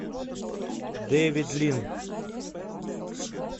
дэвид лин